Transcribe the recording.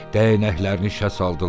Dəyənəklərini işə saldılar.